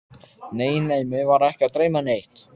Nei, nei, mig var ekki að dreyma neitt.